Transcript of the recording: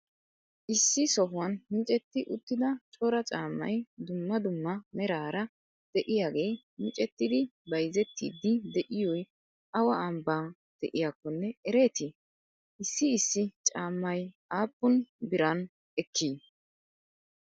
issi sohuwan miccetti uttida cora caammay duummaa duummaa merara de'iyagee miccettidi bayzettiydi de'iyoy awa ambba de'iyakkonne ereeti? issi issi caammay appun biran ekki?